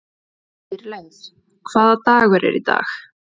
Dýrleif, hvaða dagur er í dag?